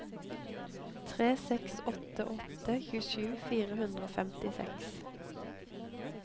tre seks åtte åtte tjuesju fire hundre og femtiseks